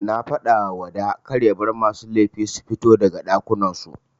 Nafadawa wada karya bar masu laifi sufito daga ɗakunan su.